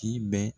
K'i bɛ